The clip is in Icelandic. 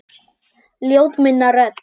Ljóð muna rödd.